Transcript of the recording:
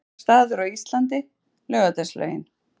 Uppáhalds staður á Íslandi: Laugardalslaugin